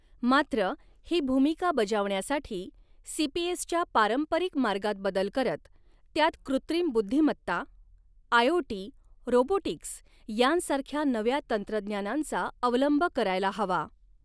मात्र, ही भूमिका बजवण्यासाठी सीपीएसच्या पारंपरिक मार्गात बदल करत, त्यात कृत्रिम बुद्धीमत्ता, आयओटी, रोबोटिक्स यांसारख्या नव्या तंत्रज्ञनांचा अवलंब करायला हवा.